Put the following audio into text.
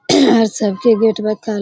सबके गेट में ताला --